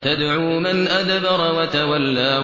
تَدْعُو مَنْ أَدْبَرَ وَتَوَلَّىٰ